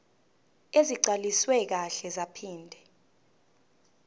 ezigcwaliswe kahle zaphinde